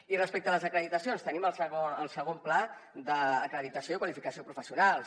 i respecte a les acreditacions tenim el segon pla d’acreditació i qualificació professionals